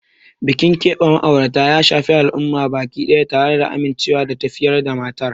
Bikin keɓe ma'aurata ya shafi al'umma baki daya, tare da amincewa da tafiyar matar.